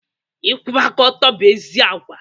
Ịkwụba aka ọtụ bụ ezi agwa.